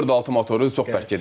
Dörd altı motoru çox bərk gedirdi.